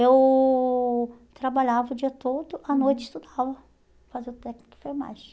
Eu trabalhava o dia todo, à noite estudava para fazer o técnico de enfermagem.